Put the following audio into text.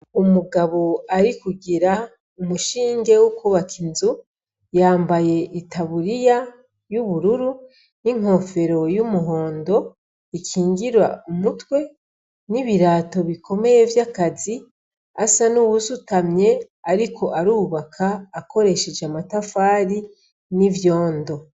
Umugabo ari kugira umushinge w'ukubaka inzu yambaye itaburiya y'ubururu n'inkofero y'umuhondo ikingira umutwe n'ibirato bikomeye vy'akazi asa n'uwusutamye ariko arubaka akoresheje amatafari n'ivyondo.